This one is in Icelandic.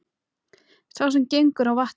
Sá sem gengur á vatni